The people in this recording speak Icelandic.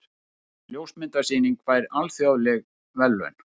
Ljósmyndasýning fær alþjóðleg verðlaun